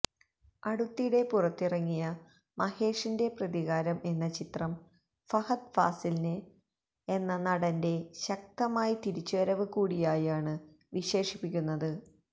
അടുത്തിടെ പുറത്തിറങ്ങിയ മഹേഷിന്റെ പ്രതികാരം എന്ന ചിത്രം ഫഹദ് ഫാസില് എന്ന നടന്റെ ശക്തമായി തിരിച്ചുവരവ് കൂടിയായാണ് വിശേഷിപ്പിക്കുന്നത്